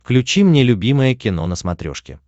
включи мне любимое кино на смотрешке